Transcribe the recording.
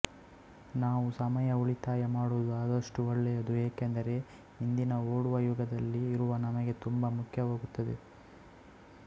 ನಾವು ಸಮಯ ಉಳಿತಾಯ ಮಾಡುವುದು ಆದಷ್ಟು ಒಳ್ಳೆಯದು ಏಕೆಂದರೆ ಇಂದಿನ ಓಡುವ ಯುಗದಲ್ಲಿ ಇರುವ ನಮ್ಮಗೆ ತುಂಬಾ ಮುಖ್ಯವಾಗುತ್ತದೆ